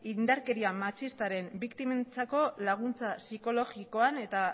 indarkeria matxistaren biktimentzako laguntza psikologikoan eta